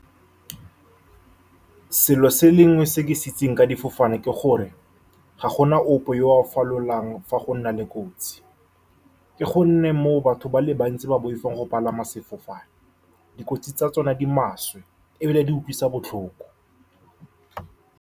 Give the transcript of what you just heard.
Selo se le sengwe se ke se itseng ka difofane ke gore ga gona ope yo o falolang fa gona le kotsi, ke gonne moo batho ba le bantsi ba boifang go palama sefofane. Dikotsi tsa tsone di maswe ebile di utlwisa botlhoko.